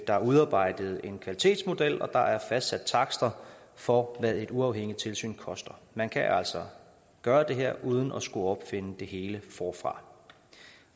der er udarbejdet en kvalitetsmodel og der er fastsat takster for hvad et uafhængigt tilsyn koster man kan altså gøre det her uden at skulle opfinde det hele forfra